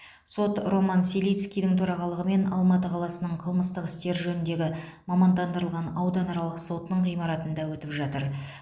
сот роман селицкийдің төрағалығымен алматы қаласының қылмыстық істер жөніндегі мамандандырылған ауданаралық сотының ғимаратында өтіп жатыр